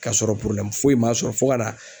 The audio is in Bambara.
Kasɔrɔ foyi m'a sɔrɔ fo ka na